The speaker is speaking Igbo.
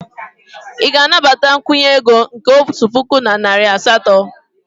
Ị ga-anabata nkwụnye ego nke otu puku na narị asatọ?